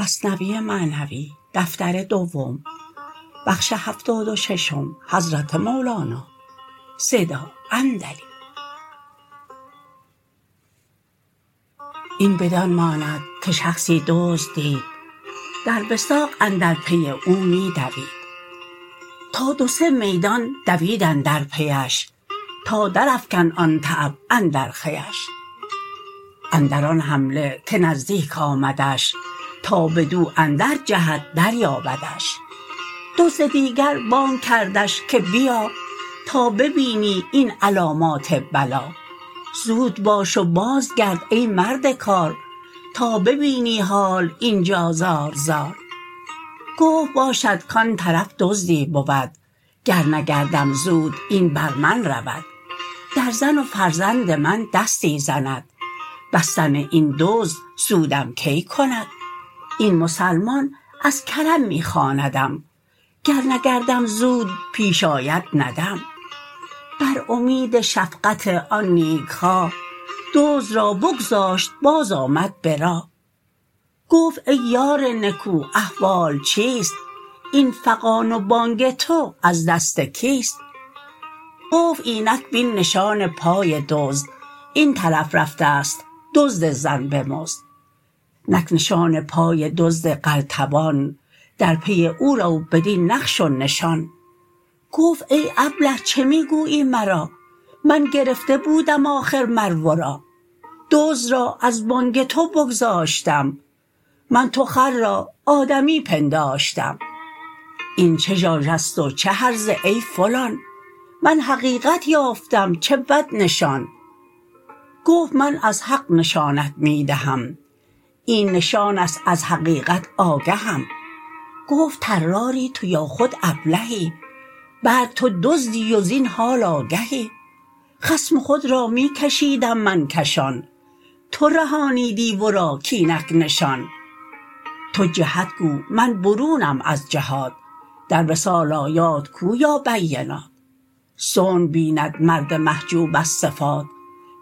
این بدان ماند که شخصی دزد دید در وثاق اندر پی او می دوید تا دو سه میدان دوید اندر پیش تا در افکند آن تعب اندر خویش اندر آن حمله که نزدیک آمدش تا بدو اندر جهد در یابدش دزد دیگر بانگ کردش که بیا تا ببینی این علامات بلا زود باش و باز گرد ای مرد کار تا ببینی حال اینجا زار زار گفت باشد کان طرف دزدی بود گر نگردم زود این بر من رود در زن و فرزند من دستی زند بستن این دزد سودم کی کند این مسلمان از کرم می خواندم گر نگردم زود پیش آید ندم بر امید شفقت آن نیکخواه دزد را بگذاشت باز آمد به راه گفت ای یار نکو احوال چیست این فغان و بانگ تو از دست کیست گفت اینک بین نشان پای دزد این طرف رفتست دزد زن بمزد نک نشان پای دزد قلتبان در پی او رو بدین نقش و نشان گفت ای ابله چه می گویی مرا من گرفته بودم آخر مر ورا دزد را از بانگ تو بگذاشتم من تو خر را آدمی پنداشتم این چه ژاژست و چه هرزه ای فلان من حقیقت یافتم چه بود نشان گفت من از حق نشانت می دهم این نشانست از حقیقت آگهم گفت طراری تو یا خود ابلهی بلک تو دزدی و زین حال آگهی خصم خود را می کشیدم من کشان تو رهانیدی ورا کاینک نشان تو جهت گو من برونم از جهات در وصال آیات کو یا بینات صنع بیند مرد محجوب از صفات